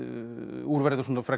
úr verður svona frekar